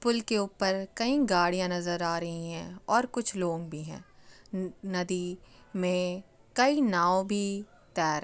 पुल के ऊपर कई गाड़ियाँ नज़र आ रही हैं और कुछ लोग भी हैं नदी मे कई नाव भी तैर रही हैं।